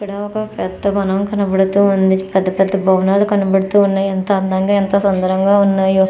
ఇక్కడ ఒక పెద్ద వనం కనపడుతూ ఉంది పెద్ద పెద్ద భవనాలు కనపడుతూ ఉన్నాయి ఎంత అందంగా ఎంత సుందరంగా ఉన్నయో --